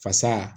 Fasa